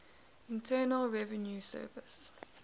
internal revenue service